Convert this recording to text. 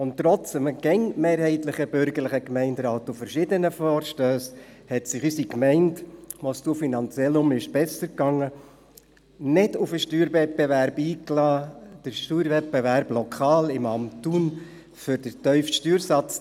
Und trotz des immer mehrheitlich bürgerlichen Gemeinderats und verschiedenen Vorstössen hat sich unsere Gemeinde, als es finanziell wieder besser ging, nicht auf den Steuerwettbewerb eingelassen – auf den Steuerwettbewerb lokal im Amt Thun um den tiefsten Steuersatz.